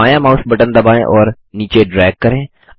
बायाँ mouse button दबाएँ और नीचे ड्रैग करें